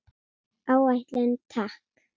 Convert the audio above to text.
Áætlun, takk.